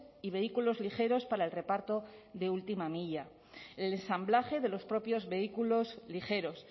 y vehículos ligeros para el reparto de última milla el ensamblaje de los propios vehículos ligeros